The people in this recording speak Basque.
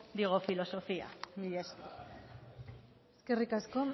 digo filosofía mila esker eskerrik asko